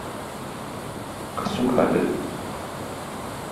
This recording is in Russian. касукабе